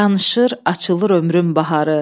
Danışır, açılır ömrüm baharı.